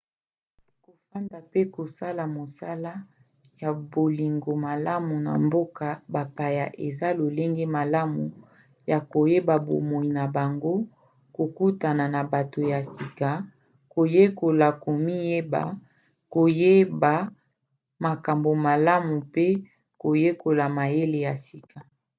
kofanda mpe kosala mosala ya bolingo malamu na mboka bapaya eza lolenge malamu ya koyeba bomoi na bango kokutana na bato ya sika koyekola komiyeba koyeba makambo malamu pe koyekola mayele ya sika